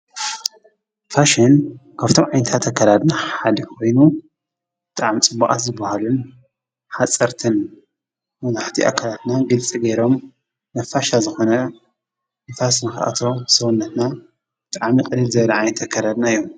ፋሽን ከብቶም ዓይንታ ተከራድና ሓድሕይኑ ጠዓም ጽቡቓት ዝበሃሉን ሓጸርትን መዙሕቲ ኣከላትና ግልፂ ጌይሮም ነፋሻ ዝኾነ ንፋስንኽኣቶ ሰወነትና ጥዓሚ ቕድል ዘለዓ የተከረድና እዮም።